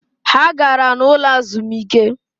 Ha gara n’ ụlọ azụmike